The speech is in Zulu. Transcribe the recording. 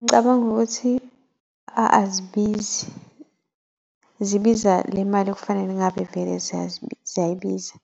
Ngicabanga ukuthi azibizi, zibiza le mali ekufanele ngabe vele ziyabiza.